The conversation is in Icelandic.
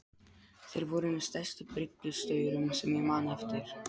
Þeir voru með stærstu bryggjustaurum sem ég man eftir.